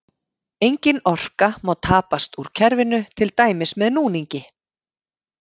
Engin orka má tapast úr kerfinu, til dæmis með núningi.